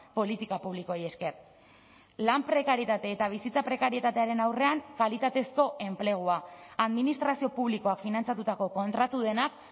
politika publikoei esker lan prekarietate eta bizitza prekarietatearen aurrean kalitatezko enplegua administrazio publikoak finantzatutako kontratu denak